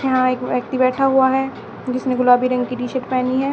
यहां एक व्यक्ति बैठा हुआ है जिसने गुलाबी रंग की टी शर्ट पहनी है।